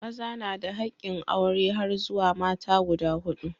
Maza na da hakkin aure har zuwa mata guda huɗu.